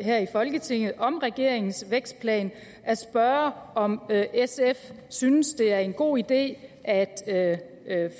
her i folketinget om regeringens vækstplan at spørge om sf synes det er en god idé at